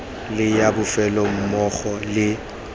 le ya bofelo mmogo le